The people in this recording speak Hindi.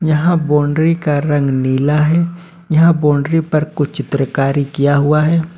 यहां बाउंड्री का रंग नीला है यहां बाउंड्री पर कुछ चित्रकार किया हुआ है।